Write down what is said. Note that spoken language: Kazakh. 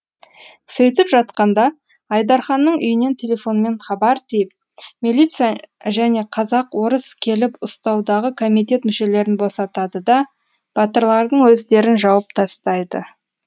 сөйтіп жатқанда айдарханның үйінен телефонмен хабар тиіп милиция және казак орыс келіп ұстаудағы комитет мүшелерін босатады да батырлардың өздерін жауып тастайды